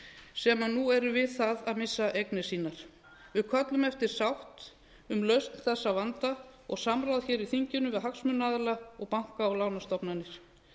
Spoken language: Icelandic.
sem nú eru við það að missa eignir sínar við köllum eftir sátt lausn þessa vanda og samráð hér í þinginu við hagsmunaaðila og banka og lánastofnanir